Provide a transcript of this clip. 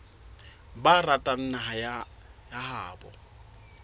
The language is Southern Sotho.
ba ratang naha ya habo